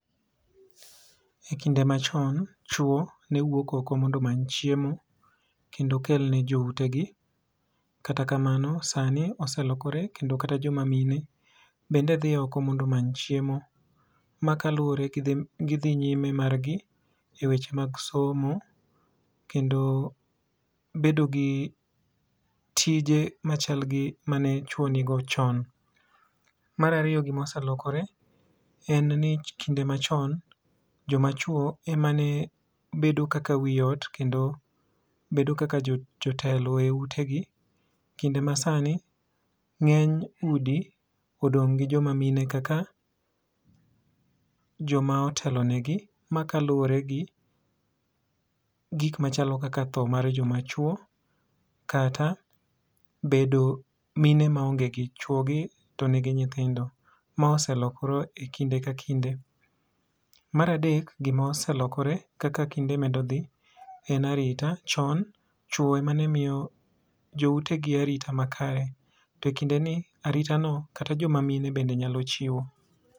E kinde ma chon, chwo ne wuok oko mondo omany chiemo mondo okel ne jo ute gi. Kata kamano oselokore kata mana jo ma mine bende dhi oko mondo omany chiemo ma kaluore gi gi dhi nyime mar gi e weche mag somo kendo bedo gi tije ma chal gi mane chwo ni go chon. Mar ariyo, gi m oselokore en ni kinde ma chon, jo ma chwo ema ne bedo kaka wi ot kendo bedo kaka jo telo e ute gi, kinde ma sani ng'eny udi odong ne jo ma mine kaka jo ma otelo ne gi ma kaluore gi gik machalo kaka tho mar jo ma chwo kata bedo mine ma onge gi chwogi to ni gi nyithindo, ma oselokore e kinde ka kinde. Mar adek, gi ma oselokore kaka kinde medo dhi en arita, chon chwo ema ne miyo jo ute gi arita makare to kinde ni arita no kata jo ma mine bende nyalo chiwo.